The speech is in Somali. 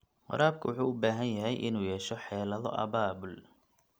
Waraabka wuxuu u baahan yahay inuu yeesho xeelado abaabul.